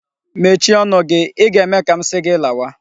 Mechie ọnụ gị! I ga-eme ka m si gi lawa.